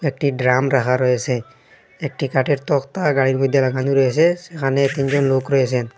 একটি ড্রাম রাখা রয়েসে একটি কাঠের তক্তা গাড়ির মধ্যে রাখানি রয়েসে সেখানে তিনজন লোক রয়েসেন।